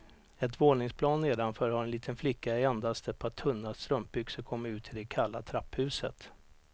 Ett våningsplan nedanför har en liten flicka i endast ett par tunna strumpbyxor kommit ut i det kalla trapphuset.